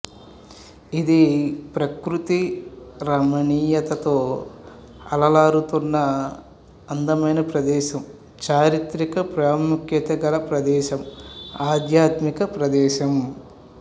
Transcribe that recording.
ఇది ప్రకృతి రమణీయతతో అలరారుతున్న అందమైన ప్రదేశం చారిత్రిక ప్రాముఖ్యత గల ప్రదేశం ఆధ్యాత్మిక ప్రదేశం